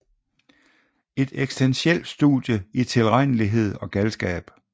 En eksistentiel studie i tilregnelighed og galskab